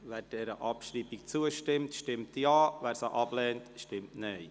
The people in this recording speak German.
Wer der Abschreibung zustimmt, stimmt Ja, wer diese ablehnt, stimmt Nein.